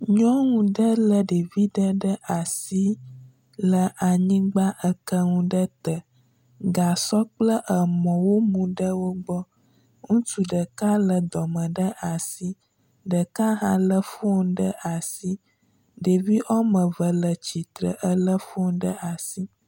Nyɔnu ɖe lé ɖevi ɖe ɖe asi le anyigba, eke nu ɖe te, gasɔ kple emɔ womu ɖe wo gbɔ, ŋutsu ɖela lé dɔme ɖe asi, ɖeka hã lé fon ɖe asi. Ɖevi woame eve le tsitre elé fon ɖe asi.